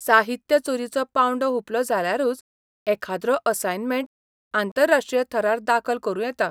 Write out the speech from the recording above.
साहित्य चोरीचो पांवडो हुंपलो जाल्यारूच एखाद्रो असायनमेंट आंतरराष्ट्रीय थरार दाखल करूं येता.